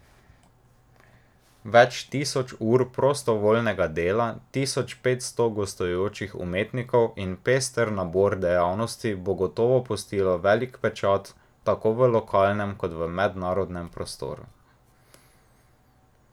Več tisoč ur prostovoljnega dela, tisoč petsto gostujočih umetnikov in pester nabor dejavnosti bo gotovo pustilo velik pečat tako v lokalnem kot mednarodnem prostoru.